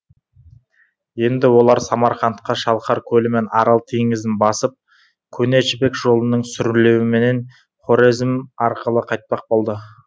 енді олар самарқантқа шалқар көлі мен арал теңізін басып көне жібек жолының сүрлеуіменен хорезм арқылы қайтпақ болды